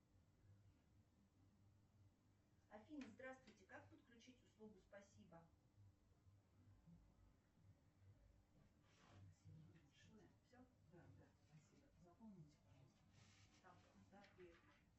афина здравствуйте как подключить услугу спасибо